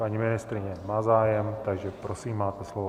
Paní ministryně má zájem, takže prosím, máte slovo.